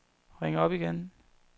ring op igen